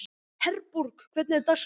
Herborg, hvernig er dagskráin?